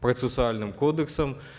процессуальным кодексом